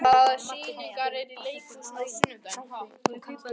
Rafn, hvaða sýningar eru í leikhúsinu á sunnudaginn?